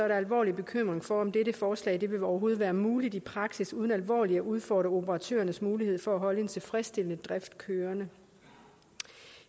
der alvorlig bekymring for om dette forslag overhovedet vil være muligt i praksis uden alvorligt at udfordre operatørernes mulighed for at holde en tilfredsstillende drift kørende